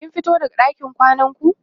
kin fito daga ɗakin kwanan ku?